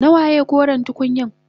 Nawaye koren tukunyan?